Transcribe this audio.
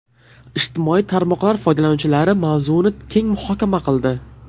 Ijtimoiy tarmoqlar foydalanuvchilari mavzuni keng muhokama qildi.